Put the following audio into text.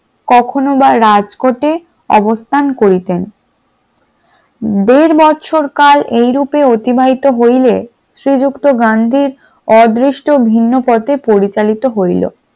কখনো বা রাজকোটে অবস্থান করতেন । দেড় বছর কাল এই রূপে অতিবাহিত হইলে শ্রীযুক্ত গান্ধী আদিষ্ট ভিন্ন পথে পরিচালিত হইল।